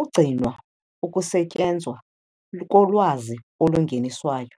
ukugcinwa ukusetyenzwa kolwazi olungeniswayo.